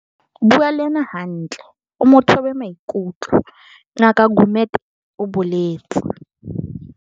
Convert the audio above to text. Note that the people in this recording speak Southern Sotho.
"Bua le yena hantle o mo thobe maikutlo," Ngaka Gumede o boletse.